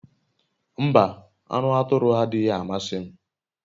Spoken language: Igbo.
Mba, anu aturu adighi amasi m